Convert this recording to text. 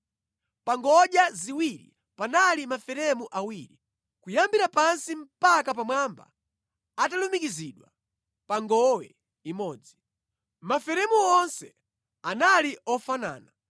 Pa ngodya ziwirizi panali maferemu awiri, kuyambira pansi mpaka pamwamba atalumikizidwa pa ngowe imodzi. Maferemu onse anali ofanana.